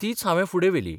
तीच हांवे फुडें व्हेली.